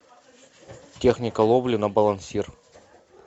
техника ловли на балансир